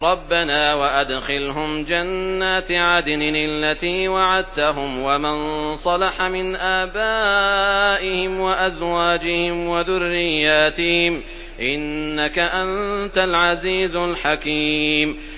رَبَّنَا وَأَدْخِلْهُمْ جَنَّاتِ عَدْنٍ الَّتِي وَعَدتَّهُمْ وَمَن صَلَحَ مِنْ آبَائِهِمْ وَأَزْوَاجِهِمْ وَذُرِّيَّاتِهِمْ ۚ إِنَّكَ أَنتَ الْعَزِيزُ الْحَكِيمُ